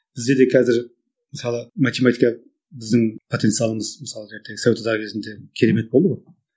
бізде де қазір мысалы математика біздің потенциалымыз мысалға совет одағы кезінде керемет болды ғой